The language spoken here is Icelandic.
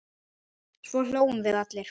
Svo hlógum við allir.